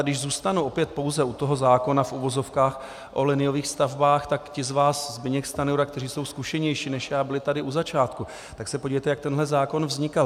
A když zůstanu opět pouze u toho zákona v uvozovkách o liniových stavbách, tak ti z vás, Zbyněk Stanjura, kteří jsou zkušenější než já, byli tady u začátku, tak se podívejte, jak tenhle zákon vznikal.